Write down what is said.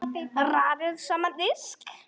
Raðið saman á disk.